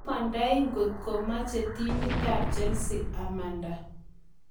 Amandai ngotko meche timitap Chelsea amanda